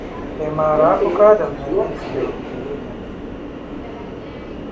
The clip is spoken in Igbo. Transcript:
Ị̀ MAARA akụkọ Adam na Iv na ogige Iden?